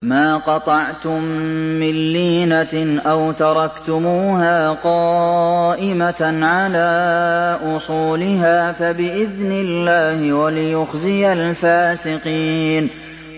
مَا قَطَعْتُم مِّن لِّينَةٍ أَوْ تَرَكْتُمُوهَا قَائِمَةً عَلَىٰ أُصُولِهَا فَبِإِذْنِ اللَّهِ وَلِيُخْزِيَ الْفَاسِقِينَ